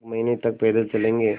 एक महीने तक पैदल चलेंगे